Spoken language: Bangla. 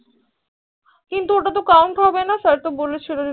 ওই তা তো count হবে না sir তো বলেছিল